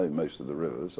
í maí